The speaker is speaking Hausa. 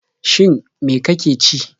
Shin me ka ke ci?